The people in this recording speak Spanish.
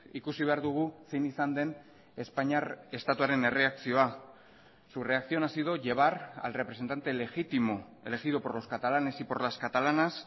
ikusi behar dugu zein izan den espainiar estatuaren erreakzioa su reacción ha sido llevar al representante legítimo elegido por los catalanes y por las catalanas